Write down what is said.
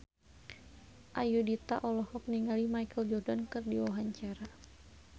Ayudhita olohok ningali Michael Jordan keur diwawancara